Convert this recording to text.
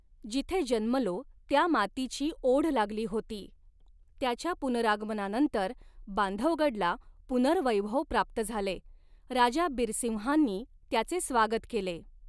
जिथे जन्मलो त्या मातीची ओढ लागली होती त्याच्या पुनरागमनानंतर बांधवगडला पुनर्वैभव प्राप्त झाले राजा बिरसिंहांनी त्याचे स्वागत केले.